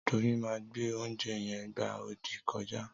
Doyin ma gbe oúnjẹ yen gbá odì kọjá.